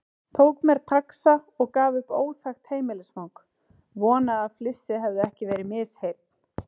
Tók mér taxa og gaf upp óþekkt heimilisfang, vonaði að flissið hefði ekki verið misheyrn.